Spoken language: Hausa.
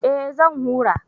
Eh zan hura